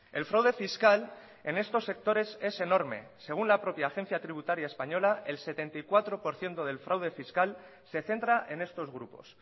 el fraude fiscal en estos sectores es enorme según la propia agencia tributaria española el setenta y cuatro por ciento del fraude fiscal se centra en estos grupos